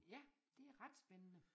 Ja det ret spændende